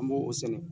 An b'o sɛnɛ